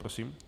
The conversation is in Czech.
Prosím.